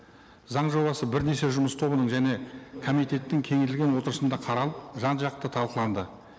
заң жобасы бірнеше жұмыс тобының және комитеттің кеңейтілген отырысында қаралып жан жақты талқыланды